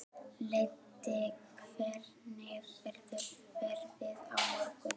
Leibbi, hvernig verður veðrið á morgun?